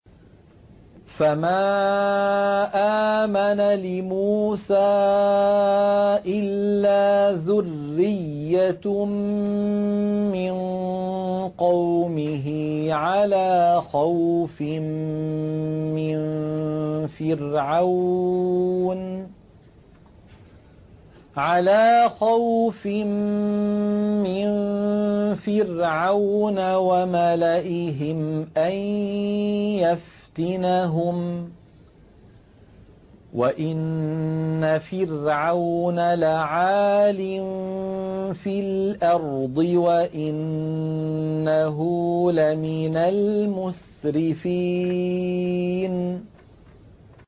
فَمَا آمَنَ لِمُوسَىٰ إِلَّا ذُرِّيَّةٌ مِّن قَوْمِهِ عَلَىٰ خَوْفٍ مِّن فِرْعَوْنَ وَمَلَئِهِمْ أَن يَفْتِنَهُمْ ۚ وَإِنَّ فِرْعَوْنَ لَعَالٍ فِي الْأَرْضِ وَإِنَّهُ لَمِنَ الْمُسْرِفِينَ